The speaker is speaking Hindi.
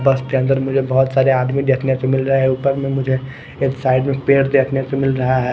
बस के अंदर मुझे बहुत सारे आदमी देखने को मिल रहे ऊपर में मुझे एक साइड में पेड़ देखने को मिल रहा है।